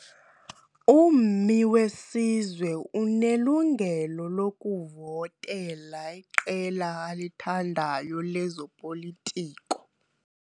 Ummi wesizwe unelungelo lokuvotela iqela alithandayo lezopolitiko.